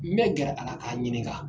N bɛ gɛrɛ a la ka ɲininka.